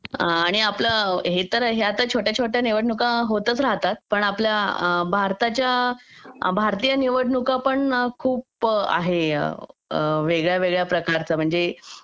या तर आपल्या छोट्या छोट्या निवडणुका होतच राहतात पण आपल्या भारताच्या भारतीय निवडणुका पण खूप आहे वेगळ्या वेगळ्या प्रकारच्या म्हणजे